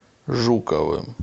жуковым